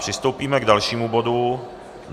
Přistoupíme k dalšímu bodu.